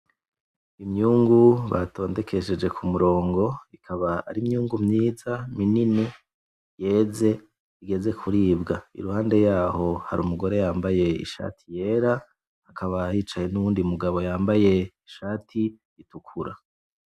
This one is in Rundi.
Imyungu batondekesheje kumurongo. Ikaba ari imyungu myiza, minini, yeze, igeze kuribwa. Iruhande yaho hari umugore yambaye ishati yera, hakaba hicaye nuwundi mugabo yambaye ishati itukura.